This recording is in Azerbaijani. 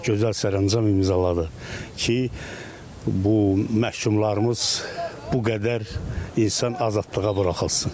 Gözəl sərəncam imzaladı ki, bu məhkumlarımız bu qədər insan azadlığa buraxılsın.